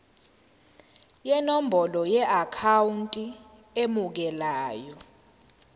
nenombolo yeakhawunti emukelayo